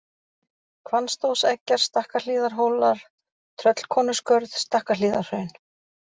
Hvannstóðseggjar, Stakkahlíðarhólar, Tröllkonuskörð, Stakkahlíðarhraun